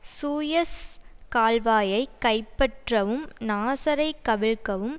Suez கால்வாயை கைப்பற்றவும் நாசரை கவிழ்க்கவும்